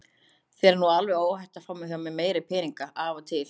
Þér er nú alveg óhætt að fá hjá mér meiri peninga af og til.